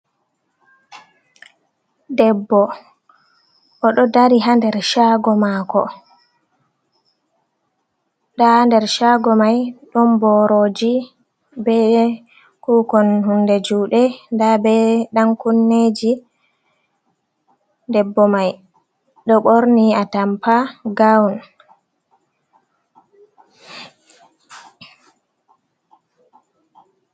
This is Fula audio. Debbo oɗo dari ha nder shago mako, Nda ha Nder Shago mai ɗon boroji be kukon hunde juɗe nda be ɗan kunneji. Debbo mai ɗo borni atampa gawun.